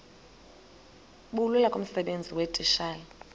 bulula kumsebenzi weetitshala